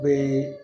Bee